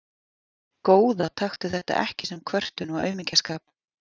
Góða taktu þetta ekki sem kvörtun og aumingjaskap.